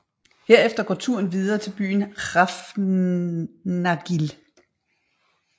Herefter går turen går videre til byen Hrafnagil